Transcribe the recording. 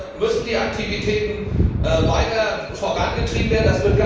Hier müssen die Aktivitäten weiter vorangetrieben werden.